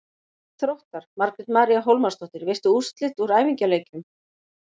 Mark Þróttar: Margrét María Hólmarsdóttir Veistu úrslit úr æfingaleikjum?